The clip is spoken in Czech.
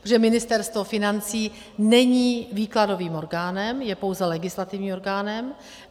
Protože Ministerstvo financí není výkladovým orgánem, je pouze legislativním orgánem.